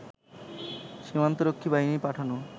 সীমান্তরক্ষী বাহিনীর পাঠানো